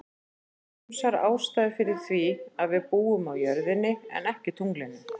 Það eru ýmsar ástæður fyrir því að við búum á jörðinni en ekki tunglinu.